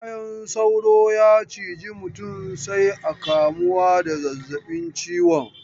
Bayan sauro ya ciji mutum sai a kamuwa da zazzabin ciwon.